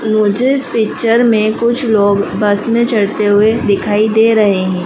मुझे इस पिक्चर में कुछ लोग बस में चढ़ते हुए दिखाई दे रहे हैं।